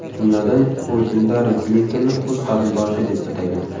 Jumladan, u Hillari Klintonni o‘z qarindoshi deb atagan.